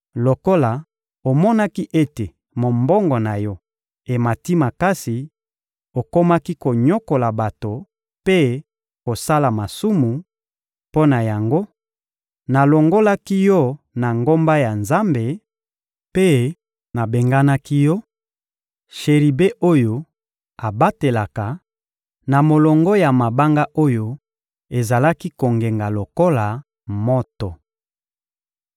Lokola omonaki ete mombongo na yo emati makasi, okomaki konyokola bato mpe kosala masumu; mpo na yango, nalongolaki yo na ngomba ya Nzambe mpe nabenganaki yo, sheribe oyo abatelaka, na molongo ya mabanga oyo ezalaki kongenga lokola moto.